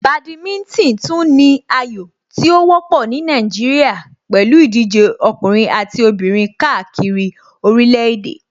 Badminton tún ní ayò tí ó wọ́pọ̀ ní Nàìjíríà pẹ̀lú ìdíje ọkùnrin àti obìnrin káàkiri orílẹ̀ èdè.